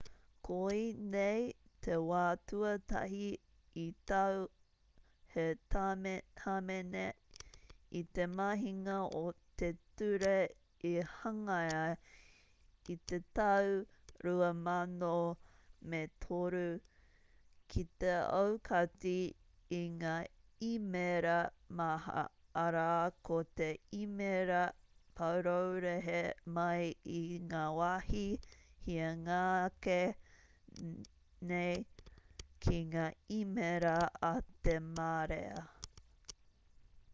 koinei te wā tuatahi i tau he hāmene i te mahinga o te ture i hangaia i te tau 2003 ki te aukati i ngā īmēra maha arā ko te īmēra paraurehe mai i ngā wāhi hianga ake nei ki ngā īmēra a te marea